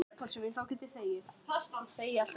Þorbjörn, einhvern tímann þarf allt að taka enda.